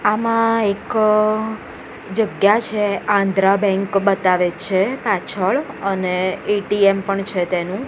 આમા એક જગ્યા છે આંધ્રા બેંક બતાવે છે પાછળ અને એ_ટી_એમ પણ છે તેનુ.